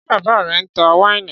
Ṣé bàbá rẹ ń ta wáìnì?